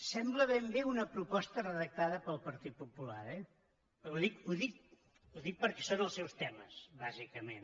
sembla ben bé una proposta redactada pel partit popular eh ho dic perquè són els seus temes bàsicament